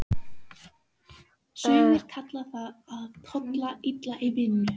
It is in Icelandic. Sumir kalla það að tolla illa í vinnu.